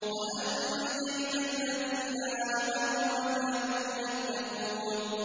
وَأَنجَيْنَا الَّذِينَ آمَنُوا وَكَانُوا يَتَّقُونَ